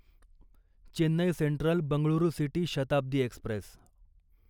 Chennai central Bengaluru city Shatabdi Express